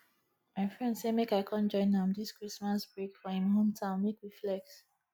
my friend say make i come join am dis christmas break for him hometown make we flex